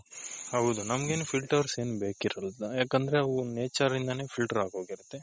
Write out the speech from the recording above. ಹೌದು ನಮಗೇನು filter ಏನ್ ಬೇಕಿರಲ್ಲ ಯಾಕೆಂದ್ರೆ ಅವು nature ಇಂದಾನೆ filter ಆಗೋಗಿರುತ್ತೆ.